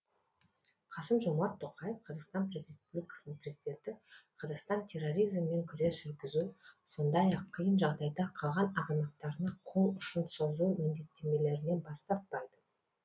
қасым жомарт тоқаев қазақстан республикасының президенті қазақстан терроризммен күрес жүргізу сондай ақ қиын жағдайда қалған азаматтарына қол ұшын созу міндеттемелерінен бас тартпайды